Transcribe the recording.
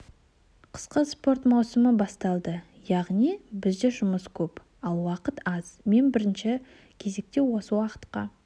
қысқы спорт маусымы басталды яғни бізде жұмыс көп ал уақыт аз мен бірінші кезекте осы уақытқа